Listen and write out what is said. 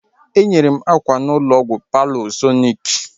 Enyere m akwa n'ụlọ ọgwụ Paulsọnik